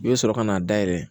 I bɛ sɔrɔ ka n'a dayɛlɛ